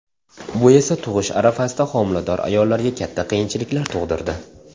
Bu esa tug‘ish arafasidagi homilador ayollarga katta qiyinchiliklar tug‘dirdi.